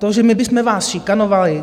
To, že my bychom vás šikanovali...